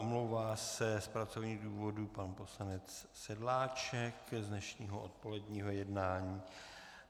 Omlouvá se z pracovních důvodů pan poslanec Sedláček z dnešního odpoledního jednání.